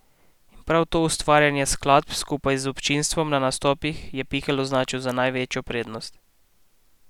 In prav to ustvarjanje skladb skupaj z občinstvom na nastopih je Pikl označil za največjo prednost.